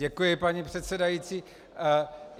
Děkuji, paní předsedající.